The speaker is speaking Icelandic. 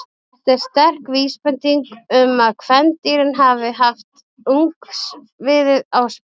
Þetta er sterk vísbending um að kvendýrin hafi haft ungviðið á spena.